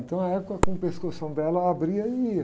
Então a égua com o pescoção dela abria e ia.